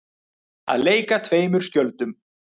Að leika tveimur skjöldum